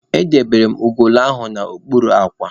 Edobere m ugolo ahụ n'okpuru akwa.